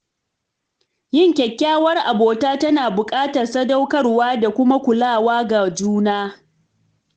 Yin kyakkyawar abota tana buƙatar sadaukarwa da kuma kulawa ga juna.